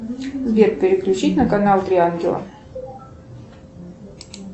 сбер переключить на канал три ангела